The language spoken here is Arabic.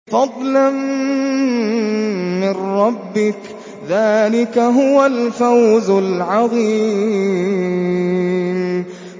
فَضْلًا مِّن رَّبِّكَ ۚ ذَٰلِكَ هُوَ الْفَوْزُ الْعَظِيمُ